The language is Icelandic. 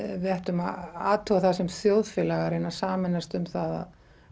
við ættum að athuga það sem þjóðfélag að reyna að sameinast um það